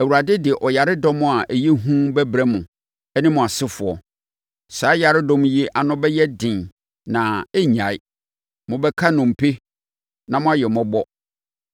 Awurade de ɔyaredɔm a ɛyɛ hu bɛbrɛ mo ne mo asefoɔ. Saa yaredɔm yi ano bɛyɛ den na ɛrennyae. Mobɛka nnompe na moayɛ mmɔbɔ.